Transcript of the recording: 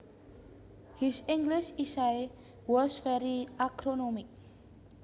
His English essay was very acronymic